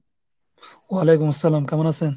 ওয়ালাইকুম আসসালাম, কেমন আছেন?